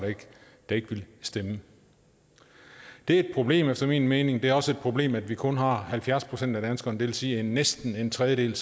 der ikke ville stemme det er et problem efter min mening det er også et problem at vi kun har halvfjerds procent af danskerne vil sige at næsten en tredjedel